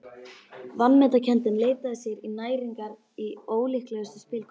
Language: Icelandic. Vanmetakenndin leitaði sér næringar í ólíklegustu spilkomur.